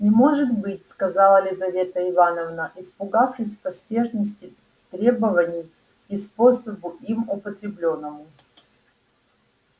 не может быть сказала лизавета ивановна испугавшись и поспешности требований и способу им употреблённому